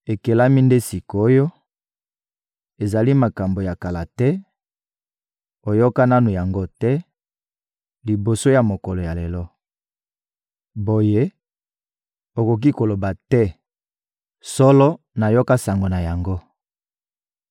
Ekelami nde sik’oyo, ezali makambo ya kala te, oyoka nanu yango te, liboso ya mokolo ya lelo. Boye, okoki koloba te: «Solo, nayoka sango na yango.»